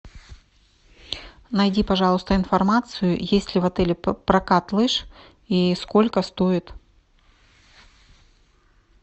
найди пожалуйста информацию есть ли в отеле прокат лыж и сколько стоит